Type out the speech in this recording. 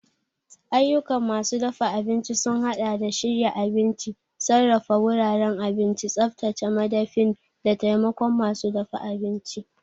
Ayyukan masu dafa abinci sun haɗa da shirya abinci, sarrafa wuraren abinci, tsaftace madafin, da taimakon masu dafa abinci.